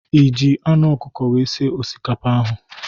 Iji anụ ọkukọ wee sie osikapa ahụ?